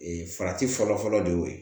Ee farati fɔlɔfɔlɔ de y'o ye